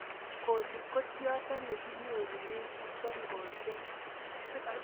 Coli ko tiondo ne kinyorune sog'osek